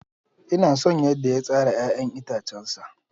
Ina son yadda ya tsara 'ya'yan itacensa.